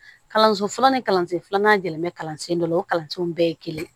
Kalanso fɔlɔ ni kalansen filanan jɛlen bɛ kalansen dɔ la o kalansenw bɛɛ ye kelen